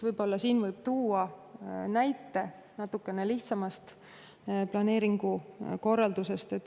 Selle kohta võib tuua näite natukene lihtsamast planeeringukorraldusest.